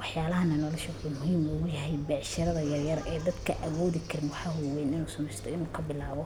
waxyaalahan noloshagu. Wuxuuna muhiim beecshirada yaryar ee dadka awoodi karin waxaa u weyn inuu sameysto iyo markaa bilaabo.